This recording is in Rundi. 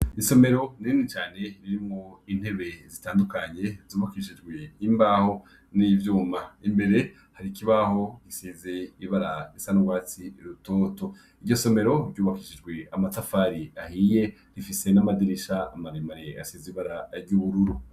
Isomero rinini cane ririmwo intebe zitandukanye, ryubakishijwe imbaho n'ivyuma. Imbere hari ikibaho gisize ibara risa n'urwatsi rutoto. Iryo somero ryubakishijwe amatafari ahiye, rifise n'amadirisha maremare asize ibara ry'ubururu.